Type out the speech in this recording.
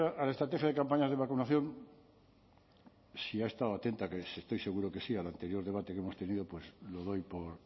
a la estrategia de campañas de vacunación si ha estado atenta que estoy seguro que sí al anterior debate que hemos tenido pues lo doy por